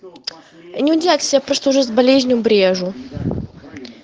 не удивляйтесь я просто уже с болезнью брежу